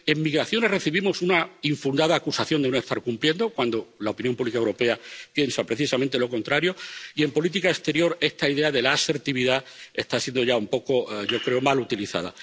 en migraciones recibimos una infundada acusación de no estar cumpliendo, cuando la opinión pública europea piensa precisamente lo contrario y en política exterior, esta idea de la asertividad está siendo —yo creo— mal utilizada.